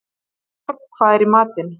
Gunnborg, hvað er í matinn?